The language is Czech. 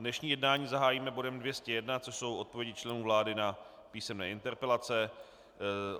Dnešní jednání zahájíme bodem 201, což jsou odpovědi členů vlády na písemné interpelace.